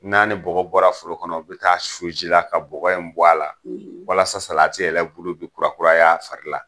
N'a ni bɔgɔ bɔra foro kɔnɔ u bɛ taa'a su ji la ka bɔgɔ in bɔ a la walasa salati yɛrɛ bulu be kurakuray'a fari la.